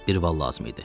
Bir val lazım idi.